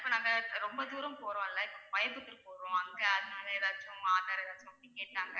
இப்ப நாங்க ரொம்ப தூரம் போறோம்ல்ல இப்ப கோயம்புத்தூர் போறோம் அங்க அதனால ஏதாச்சும் aadhar ஏதாச்சும் கேட்டாங்க